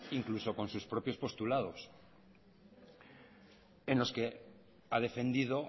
incluso con sus propios postulados en los que ha defendido